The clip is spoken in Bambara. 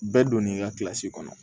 Bɛɛ donnen i ka kɔnɔ